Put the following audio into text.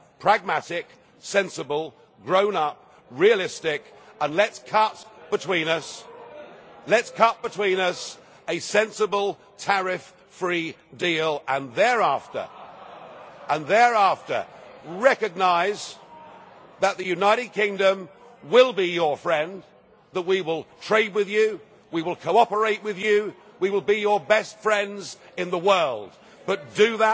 be pragmatic, sensible, grown up, realistic and let's cut between us a sensible tariff free deal, and thereafter recognise that the United Kingdom will be your friend, that we will trade with you, we will cooperate with you, we will be your best friends in the world, but